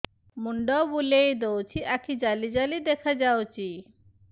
ମୁଣ୍ଡ ବୁଲେଇ ଦଉଚି ଆଖି ଜାଲି ଜାଲି ଦେଖା ଯାଉଚି